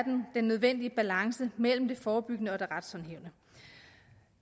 den nødvendige balance mellem det forebyggende og det retshåndhævende